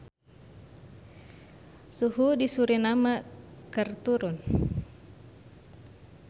Suhu di Suriname keur turun